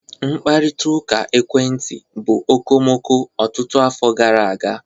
Mkparịta ụka ekwentị bụ okomoko ọtụtụ afọ gara aga